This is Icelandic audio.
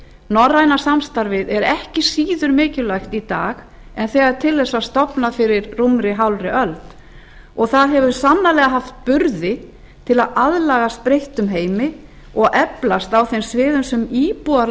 norræna samstarfið er ekki síður mikilvægt í dag en þegar til þess var stofnað fyrir rúmri hálfri öld það hefur sannarlega haft burði til að aðlagast breyttum heimi og eflast á þeim sviðum sem íbúar